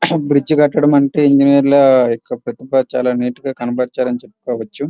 Bridge కట్టడం అంటే ఇంజినీర్ల ఒక ప్రతిభ చాల నీట్ గా కనబరచాలి అని చెప్పవచ్చు.